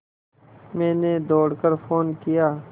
मैंने दौड़ कर फ़ोन किया